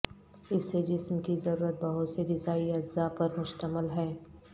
اس سے جسم کی ضرورت بہت سے غذائی اجزاء پر مشتمل ہے